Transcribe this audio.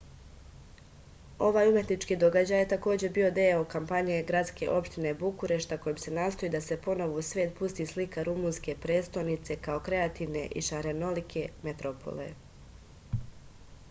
ovaj umetnički događaj je takođe bio deo kampanje gradske opštine bukurešta kojim se nastoji da se ponovo u svet pusti slika rumunske prestonice kao kreativne i šarenolike metropole